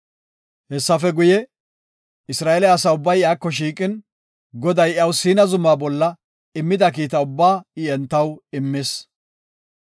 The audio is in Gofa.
Hessafe guye, Isra7eele asa ubbay iyako shiiqin, Goday iyaw Siina zuma bola immida kiita ubbaa I entaw immis.